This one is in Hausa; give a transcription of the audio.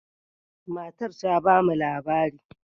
Matar ta ba mu labari.